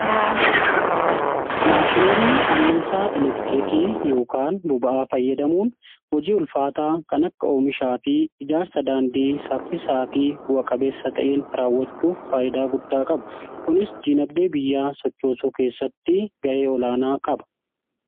maashinoonni anniisaa elektiriikii yookaan boba'aa fayyadamuun hojii ulfaataa kan akka oomishaa fi ijaarsa daandii saffisaa fi bu'a-qabeessa ta'een raawwachuuf faayidaa guddaa qabu. kunis diinagdee biyyaa sochoosuu keessatti ga'ee olaanaa qaba.